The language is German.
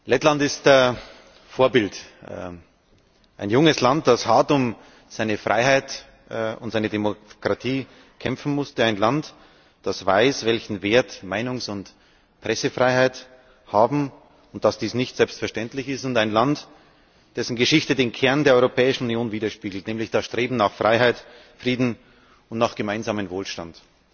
Lettland ist Vorbild, ein junges Land, das hart um seine Freiheit und seine Demokratie kämpfen musste, ein Land, das weiß, welchen Wert Meinungs und Pressefreiheit haben und dass dies nicht selbstverständlich ist, und ein Land, dessen Geschichte den Kern der Europäischen Union widerspiegelt, nämlich das Streben nach Freiheit, Frieden und nach gemeinsamem Wohlstand.